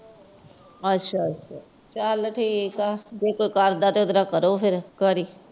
ਅੱਛਾ ਅੱਛਾ! ਚੱਲ ਠੀਕ ਏ ਫਿਰ ਜੀਦਾ ਸਰਦਾ ਉਤਰਾ ਕਰੋ ਫਿਰ।